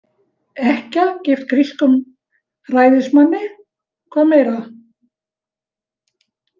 Ekkja, gift grískum ræðismanni, hvað meira?